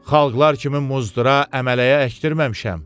Xalqlar kimi muzdura, əmələyə əkdirməmişəm.